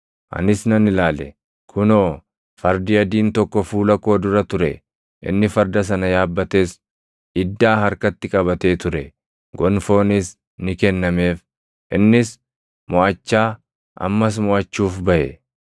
Anis nan ilaale; kunoo, fardi adiin + 6:2 Fardi adiin – fakkeenya boojuu fi moʼannaa ti. tokko fuula koo dura ture! Inni farda sana yaabbates iddaa harkatti qabatee ture; gonfoonis ni kennameef; innis moʼachaa, ammas moʼachuuf baʼe.